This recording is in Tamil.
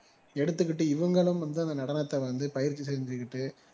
எடுத்துக்கிட்டு இவங்களும் வந்து அந்த நடனத்த வந்து பயிற்சி செஞ்சிகிட்டு